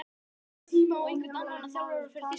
Er kominn tími á einhvern annan þjálfara fyrir Þýskaland?